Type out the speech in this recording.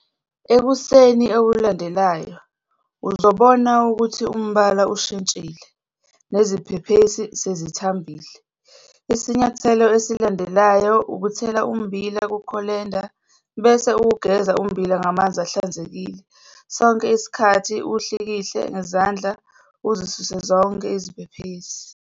Ekuseni okulandelayo, uzobona ukuthi umbala ushintshile, neziphephesi sezithambile. Isinyathelo esilandelayo ukuthela ummbila kukholenda bese uwugeza ummbila ngamanzi ahlanzekile sonke isikhathi uwuhlikihle ngezandla uzisuse zonke iziphephesi.